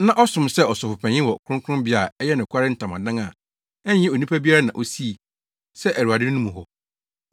na ɔsom sɛ Ɔsɔfopanyin wɔ Kronkronbea a ɛyɛ nokware ntamadan a ɛnyɛ onipa biara na osii, sɛ Awurade no mu hɔ.